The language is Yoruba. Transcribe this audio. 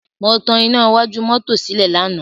Mo tan iná iwájú mọ́tò sílẹ̀ lánàá.